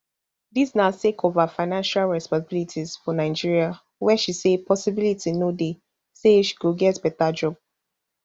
dis na sake of her financial responsibilities for nigeria wia she say possibility no dey say she go get beta job